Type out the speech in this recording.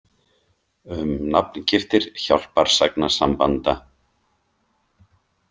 Um nafngiftir hjálparsagnasambanda.